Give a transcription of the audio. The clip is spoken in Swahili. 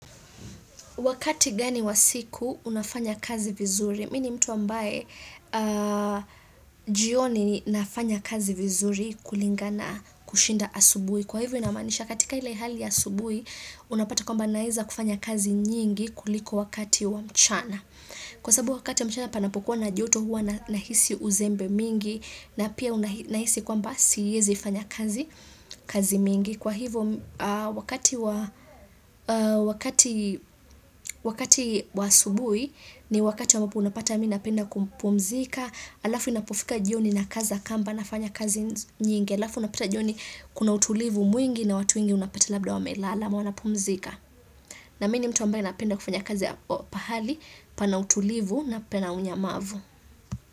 Wakati gani wa siku unafanya kazi vizuri, mimini mtu ambaye jioni nafanya kazi vizuri kulingana kushinda asubuhi. Kwa hivyo inamanisha katika ile haliya asubuhi, unapata kwamba naweza kufanya kazi nyingi kuliko wakati wa mchana. Kwa sababu wakati wa mchana panapokuwa na joto huwa nahisi uzembe mingi, na pia nahisi kwamba siwezi fanya kazi mingi. Kwa hivyo wakati wa asubuhi ni wakati ambapo unapata miminapenda kupumzika, alafu inapofika jioni na kaza kamba nafanya kazi nyingi, alafu unapata jioni kuna utulivu mwingi na watu wengi unapata labda wa melala amawana pumzika. Na mimini mtu ambaye napenda kufanya kazi ya pahali pana utulivu na pena unyamavu.